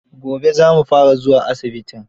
Gobe za mu fara zuwa asibitin